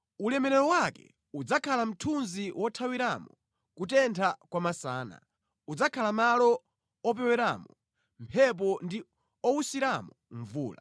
Ulemerero wake udzakhala mthunzi wothawiramo kutentha kwa masana, udzakhala malo opeweramo mphepo ndi owusiramo mvula.